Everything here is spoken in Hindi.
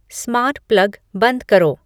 स्मार्ट प्लग बंद करो